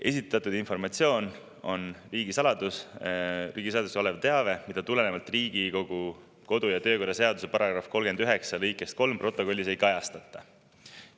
Esitatud informatsioon on riigisaladuseks olev teave, mida tulenevalt Riigikogu kodu‑ ja töökorra seaduse § 39 lõikest 3 protokollis ei kajastata.